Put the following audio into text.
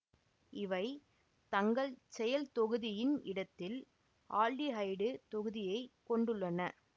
இவை தங்கள் செயல் தொகுதியின் இடத்தில் ஆல்டிஹைடு தொகுதியை கொண்டுள்ளன